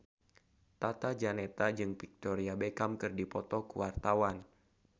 Tata Janeta jeung Victoria Beckham keur dipoto ku wartawan